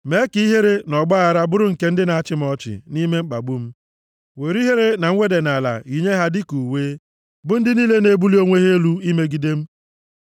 Mee ka ihere na ọgbaaghara bụrụ nke ndị na-achị m ọchị nʼime mkpagbu m; were ihere na nweda nʼala yinye ha dịka uwe, bụ ndị niile na-ebuli onwe ha elu imegide m.